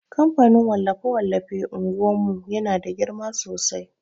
kamfanin wallafe-wallafe unguwan mu yana da girma sosai.